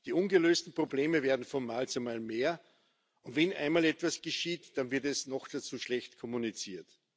Die ungelösten Probleme werden von Mal zu Mal mehr. Und wenn einmal etwas geschieht, dann wird es noch dazu schlecht kommuniziert.